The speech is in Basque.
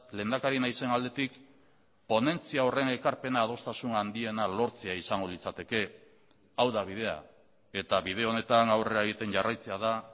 lehendakari naizen aldetik ponentzia horren ekarpena adostasun handiena lortzea izango litzateke hau da bidea eta bide honetan aurrera egiten jarraitzea da